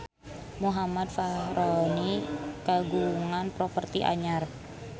Muhammad Fachroni kagungan properti anyar